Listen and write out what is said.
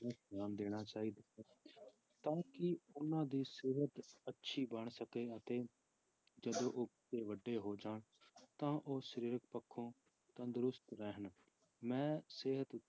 ਧਿਆਨ ਦੇਣਾ ਚਾਹੀਦਾ ਹੈ ਤਾਂ ਕਿ ਉਹਨਾਂ ਦੀ ਸਿਹਤ ਅੱਛੀ ਬਣ ਸਕੇ ਅਤੇ ਜਦੋਂ ਉਹ ਵੱਡੇ ਹੋ ਜਾਣ ਤਾਂ ਉਹ ਸਰੀਰਕ ਪੱਖੋਂ ਤੰਦਰੁਸਤ ਰਹਿਣ ਮੈਂ ਸਿਹਤ